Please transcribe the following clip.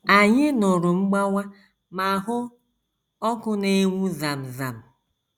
Anyị nụrụ mgbawa ma hụ ọkụ na - enwu zam zam.